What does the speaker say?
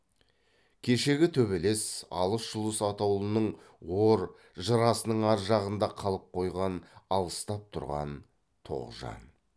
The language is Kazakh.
кешегі төбелес алыс жұлыс атаулының ор жырасының ар жағында қалып қойған алыстап тұрған тоғжан